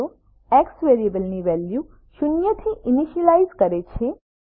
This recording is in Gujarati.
x0 એક્સ વેરિયેબલની વેલ્યુ શૂન્યથી ઇનીશ્યલાઈઝ કરે છે